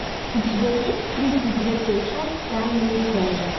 у тебя есть тридцать третья часть тайные связи